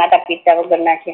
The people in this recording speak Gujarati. મોટા પિતા વગર ના છે